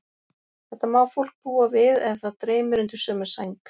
Þetta má fólk búa við ef það dreymir undir sömu sæng.